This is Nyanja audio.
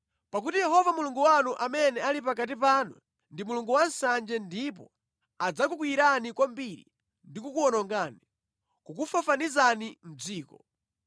pakuti Yehova Mulungu wanu amene ali pakati panu, ndi Mulungu wansanje ndipo adzakukwiyirani kwambiri ndi kukuwonongani, kukufafanizani mʼdziko.